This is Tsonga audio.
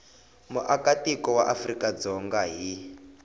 muakatiko wa afrika dzonga hi